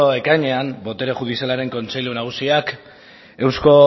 ekainean botere judizialaren kontseilu nagusiak eusko